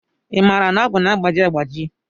I maara na ọgụ na-agbaji agbaji?